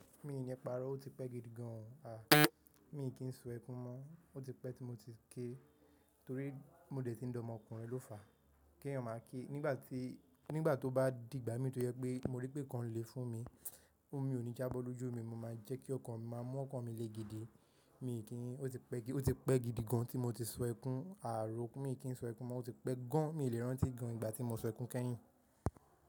Mi ni iparo, o ti pẹ́ gidigan. A, mi kì í sun ẹkún mọ́, o ti pẹ́ tí mo ti ké torí mo dẹ̀ ti ń d'ọmọkùnrin ló fàá, kí ẹ̀yàn máa ké. Nígbà tí, nígbà tó bá dìgbà mí tó yẹ pé mo rí pé kan lè fún mi, omi ò ní jábọ́ lójú mi, mo máa jẹ́ kí ọkàn mi máa mú ọkàn mi le gidi. Mi kì í, o ti pẹ́, o ti pẹ́ gidigan tí mo ti sun ẹkún. A, òro, mi kì í sun ẹkún mọ́, o ti pẹ́ gan. Mi lè rántí gan ìgbà tí mo sun ẹkún kẹ́yìn.